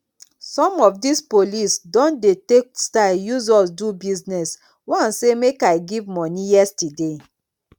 some of dis police don dey take style use us do business one say make i give money yesterday